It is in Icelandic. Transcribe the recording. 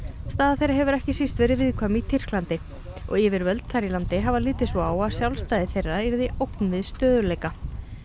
staða þeirra hefur ekki síst verið viðkvæm í Tyrklandi og yfirvöld þar í landi hafa litið svo á að sjálfstæði þeirra yrði ógn við stöðugleika